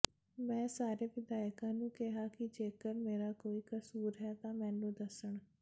ਮੈਂ ਸਾਰੇ ਵਿਧਾਇਕਾਂ ਨੂੰ ਕਿਹਾ ਕਿ ਜੇਕਰ ਮੇਰਾ ਕੋਈ ਕਸੂਰ ਹੈ ਤਾਂ ਮੈਨੂੰ ਦੱਸਣ